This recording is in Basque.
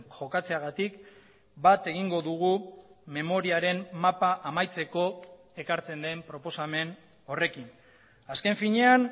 jokatzeagatik bat egingo dugu memoriaren mapa amaitzeko ekartzen den proposamen horrekin azken finean